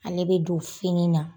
Ale bɛ don fini na.